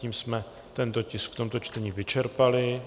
Tím jsme tento tisk v tomto čtení vyčerpali.